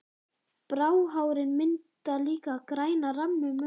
Bráhárin mynda líka græna ramma um augun.